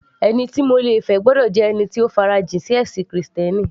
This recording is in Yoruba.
Ẹni tí mo le fẹ́ gbọ́dọ̀ jẹ́ ẹni tó farajìn sí ẹ̀sìn krìstẹ́nì